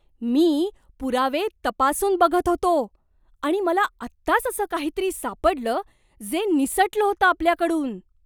मी पुरावे तपासून बघत होतो आणि मला आत्ताच असं काहीतरी सापडलं जे निसटलं होतं आपल्याकडून!